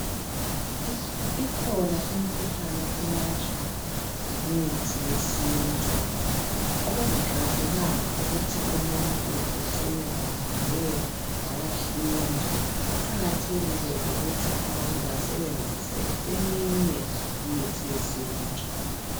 Ikhona imikhuhlane elatshwa ngemithi yensintu okungaqakathekanga ukuthi umuntu ecine ehambe wayahlinzwa kuqakathekile ukuthi abantu basebenzise eminye imithi yesintu .